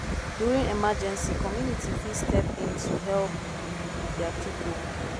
during emergency community fit step in to help their pipo